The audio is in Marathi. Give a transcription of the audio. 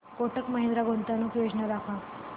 कोटक महिंद्रा गुंतवणूक योजना दाखव